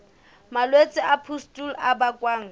malwetse a pustule a bakwang